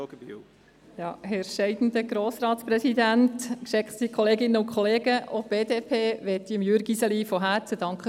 Auch die BDP möchte Jürg Iseli von Herzen für seine Arbeit danken.